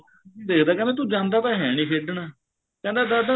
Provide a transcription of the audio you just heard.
ਦੇਖਦੇ ਆ ਤੂੰ ਜਾਂਦਾ ਹੈ ਨੀਂ ਖੇਡਣ ਕਹਿੰਦਾ ਸਾਰਾ ਦਿਨ ਕਹਿੰਦਾ ਦਾਦਾ